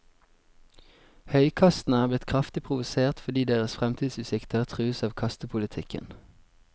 Høykastene er blitt kraftig provosert fordi deres fremtidsutsikter trues av kastepolitikken.